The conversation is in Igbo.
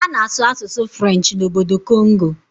A na-asụ asụsụ Frenchị n'obodo Kongo